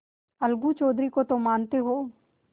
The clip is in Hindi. अलगू चौधरी को तो मानते हो